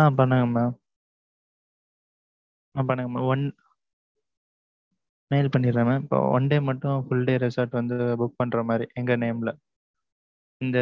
அ பண்ணுங்க mam. அ பண்ணுங்க mam one mail பண்ணிடுரன் mam. இப்போ one day மட்டும், full day resort வந்து, book பண்ற மாதிரி, எங்க name ல இந்த